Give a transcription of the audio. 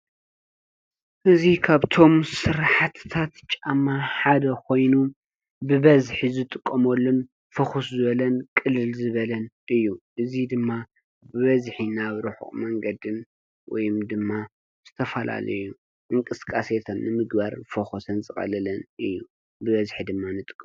እዚ ካብቶም ስራሕቲታት ጫማ ሓደ ኮይኑ ብበዝሒ ዝጥቀመሉን ፉኩስ ዝበለን ቅልል ዝበለን እዩ። እዚ ድማ ብበዝሒ ናብ ሩሑቅ መንገድን ወይ ድማ ዝተፈላለዩ እንቅስቃሴታት ንምግባር ዝፈኮሰን ዝቀለለን እዩ። ብበዝሒ ድማ ንጥቀመሉ።